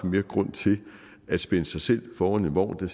mere grund til at spænde sig selv foran en vogn